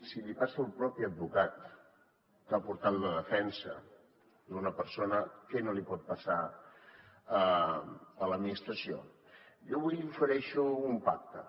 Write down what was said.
si li passa al propi advocat que ha portat la defensa d’una persona què no li pot passar a l’administració jo avui li ofereixo un pacte